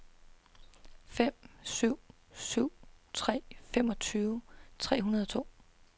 fem syv syv tre femogtyve tre hundrede og to